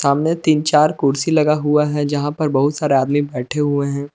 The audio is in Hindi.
सामने तीन चार कुर्सी लगा हुआ हैं जहां पर बहुत सारे आदमी बैठे हैं।